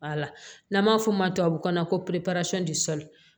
Wala n'an b'a f'o ma tubabukan na ko